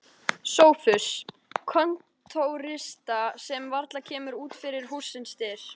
SOPHUS: Kontórista sem varla kemur út fyrir hússins dyr.